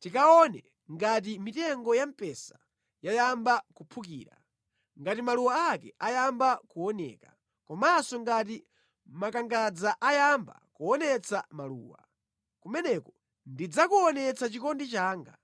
tikaone ngati mitengo ya mpesa yayamba kuphukira, ngati maluwa ake ayamba kuoneka, komanso ngati makangadza ayamba kuonetsa maluwa. Kumeneko ndidzakuonetsa chikondi changa.